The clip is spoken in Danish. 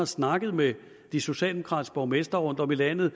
snakket med de socialdemokratiske borgmestre rundtom i landet